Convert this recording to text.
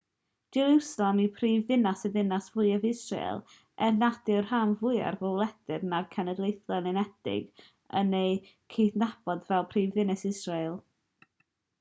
jerwsalem yw prifddinas a dinas fwyaf israel er nad yw'r rhan fwyaf o wledydd na'r cenhedloedd unedig yn ei chydnabod fel prifddinas israel